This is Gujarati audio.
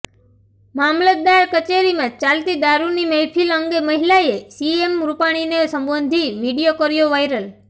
મામલતદાર કચેરીમાં ચાલતી દારૂની મહેફિલ અંગે મહિલાએ સીએમ રૂપાણીને સંબોધી વીડિયો કર્યો વાયરલ